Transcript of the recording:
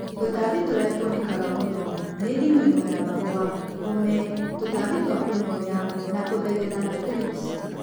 Tũtambi tũria tuonekaga mũno ni ding'oing'o ya mahũa, ũme, tũtambi twa kunyonya na kũthegetha na thrips